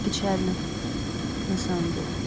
печально на самом деле